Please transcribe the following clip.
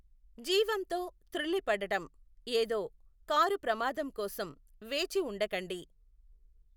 జీవంతో తృళ్ళిపడడం ఏదో కారు ప్రమాదం కోసం వేచి ఉండకండి.